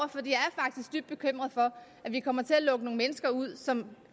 det bekymret for at vi kommer til at lukke nogle mennesker ud som